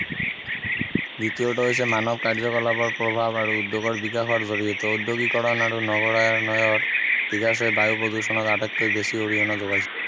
দ্বিতীয়টো হৈছে মানৱ কাৰ্যকলাপৰ প্ৰভাৱ আৰু উদ্যোগৰ বিকাশৰ জৰিয়তে উদ্যোগীকৰণ আৰু নগৰায়নৰ বিকাশে বায়ু প্ৰদূষণত আটাইতকৈ বেছি অৰিহণা যোগাইছে